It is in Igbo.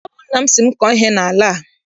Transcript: Ọ bụ nna m sị m kọọ ihe n'ala a.